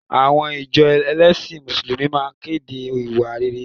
Àwọn ìjọ ẹlẹ́sìn Mùsùlùmí máa kéde ìwà rere